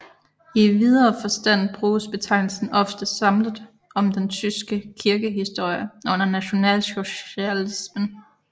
I videre forstand bruges betegnelse ofte samlet om den tyske kirkehistorie under nationalsocialismen